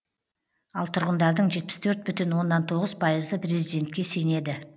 ал тұрғындардың жетпіс төрт бүтін оннан тоғыз пайызы президентке сенеді